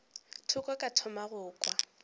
thoko ka thoma go kwa